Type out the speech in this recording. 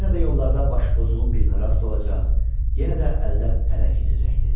Yenə də yollarda başı pozuğun birinə rast olacaq, yenə də əldən ələ keçəcəkdi.